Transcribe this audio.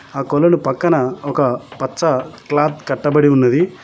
ఆ కొలలు పక్కన ఒక పచ్చ క్లాత్ కట్టబడి ఉన్నది